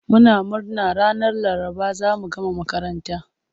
Muna murna ranar Laraba za mu gama makaranta.